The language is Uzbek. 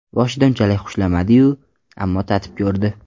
Boshida unchalik xushlamadi-yu, ammo tatib ko‘rdi.